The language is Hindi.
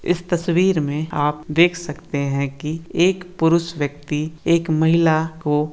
इस तस्वीर में आप देख सकते है की एक पुरुष व्यक्ति एक महिला को --